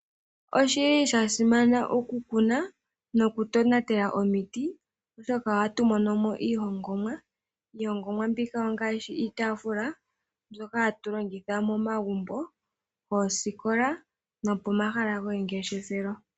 Osha simana okukuna nokutonatela omiti, oshoka ohatu mono mo iihongomwa. Iihongomwa mbika ongaashi iitaafula mbyoka hatu longitha momagumbo, moosikola nopomahala gomangeshefelo.